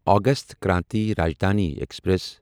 August Kranti Rajdhani express